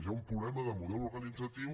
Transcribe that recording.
hi ha un problema de model organitzatiu